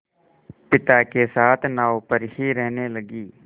पिता के साथ नाव पर ही रहने लगी